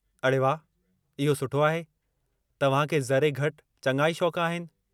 अड़े वाह, इहो सुठो आहे, तव्हां खे ज़रे घटि चङा ई शौक़ आहिनि।